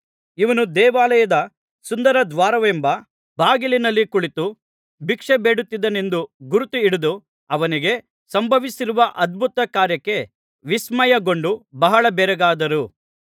ಇವನು ದೇವಾಲಯದ ಸುಂದರ ದ್ವಾರವೆಂಬ ಬಾಗಿಲಿನಲ್ಲಿ ಕುಳಿತು ಭಿಕ್ಷೆಬೇಡುತ್ತಿದ್ದವನೆಂದು ಗುರುತುಹಿಡಿದು ಅವನಿಗೆ ಸಂಭವಿಸಿರುವ ಅದ್ಭುತಕಾರ್ಯಕ್ಕೆ ವಿಸ್ಮಯಗೊಂಡು ಬಹಳ ಬೆರಗಾದರು